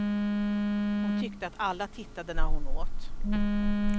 Hon tyckte att alla tittade när hon åt.